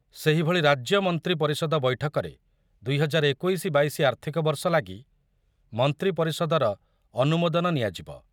ସେହିଭଳି ରାଜ୍ୟ ମନ୍ତ୍ରୀ ପରିଷଦ ବୈଠକରେ ଦୁଇ ହଜାର ଏକୋଇଶି ବାଇଶି ଆର୍ଥିକ ବର୍ଷ ଲାଗି ମନ୍ତ୍ରୀ ପରିଷଦର ଅନୁମୋଦନ ନିଆଯିବ।